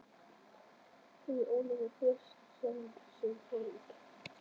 Hefur Ólafur breyst sem þjálfari síðan hann fór út?